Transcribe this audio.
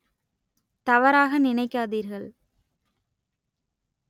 தவறாக நினைக்காதீர்கள்